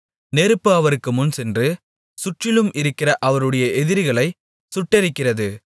நெருப்பு அவருக்கு முன்சென்று சுற்றிலும் இருக்கிற அவருடைய எதிரிகளைச் சுட்டெரிக்கிறது